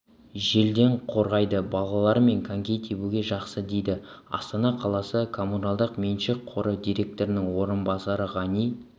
желден қорғайды балалармен коньки тебуге жақсы дейді астана қаласы коммуналдық меншік қоры директорының орынбасары ғани